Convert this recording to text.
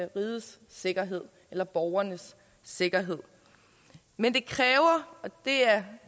rigets sikkerhed eller borgernes sikkerhed men det kræver og det er